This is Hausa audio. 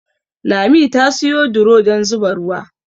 Lami ta siyo duro dan zuba ruwa